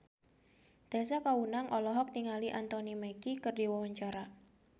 Tessa Kaunang olohok ningali Anthony Mackie keur diwawancara